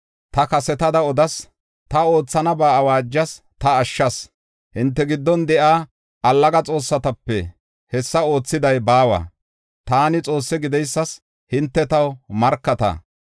Ta kasetada odas, ta oothanaba awaajas, ta ashshas. Hinte giddon de7iya allaga xoossatape hessa oothiday baawa. Taani Xoosse gideysas hinte taw markata.